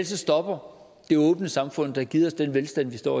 stopper det åbne samfund der har givet os den velstand vi står